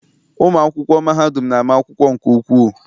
Ụmụ akwụkwọ mahadum na-ama akwụkwọ nke ukwuu.